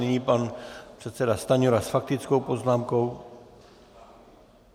Nyní pan předseda Stanjura s faktickou poznámkou.